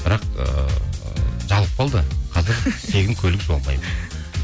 бірақ ыыы жабылып қалды қазір тегін көлік жуа алмаймын